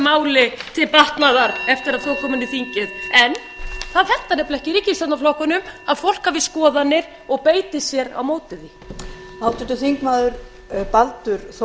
máli til batnaðar eftir að það kom inn í þingið en það hentar ekki ríkisstjórnarflokkunum að fólk hafi skoðanir og beiti sér á móti því